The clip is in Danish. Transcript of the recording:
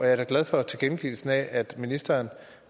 er da glad for tilkendegivelsen af at ministeren